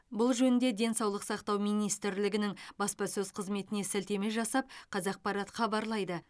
бұл жөнінде денсаулық сақтау министрлігінің баспасөз қызметіне сілтеме жасап қазақпарат хабарлайды